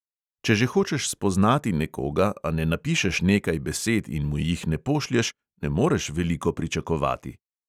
Če že hočeš spoznati nekoga, a ne napišeš nekaj besed in mu jih ne pošlješ, ne moreš veliko pričakovati.